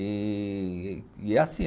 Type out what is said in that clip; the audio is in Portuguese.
E e é assim.